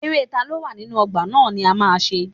Eré taló wà nínú ọgbà ná ni a ma ṣe.